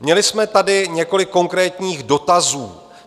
Měli jsme tady několik konkrétních dotazů.